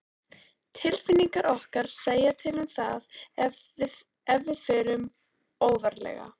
Tilfinningar okkar segja til um það ef við förum óvarlega.